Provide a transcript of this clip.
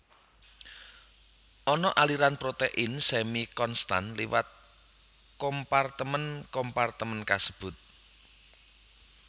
Ana aliran protein semi konstan liwat kompartemen kompartemen kasebut